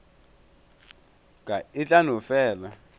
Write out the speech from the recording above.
ka e tla no fela